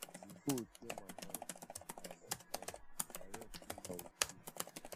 the hoe tear my hand and and i rush clean am with spirit